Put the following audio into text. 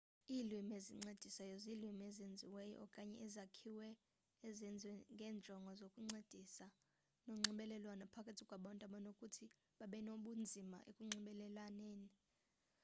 iilwimi ezincedisayo ziilwimi ezenziweyo okanye ezakhiweyo ezenziwe ngeenjongo zokuncedisana nonxibelelwano phakathi kwabantu abanokuthi babenobunzima ekunxibelelaneni